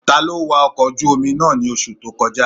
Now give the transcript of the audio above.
Taló wa ọkọ̀ ojú-omi náà ní oṣù tó kọjá?